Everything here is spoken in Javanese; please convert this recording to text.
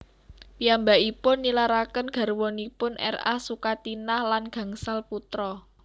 Piyambakipun nilaraken garwanipun R A Sukatinah lan gangsal putra